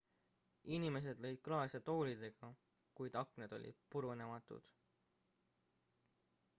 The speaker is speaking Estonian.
inimesed lõid klaase toolidega kuid aknad olid purunematud